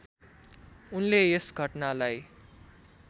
उनले यस घटनालाई